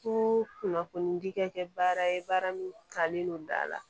Ko kunnafonidi kɛ baara ye baara min talen don da la